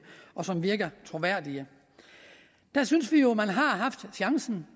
og som virker troværdige der synes vi jo at man har haft chancen